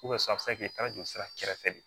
a bɛ se ka kɛ i taara jolisira kɛrɛfɛ de